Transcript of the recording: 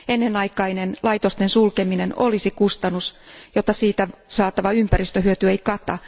Ennenaikainen laitosten sulkeminen olisi kustannus, jota siitä saatava ympäristöhyöty ei kata.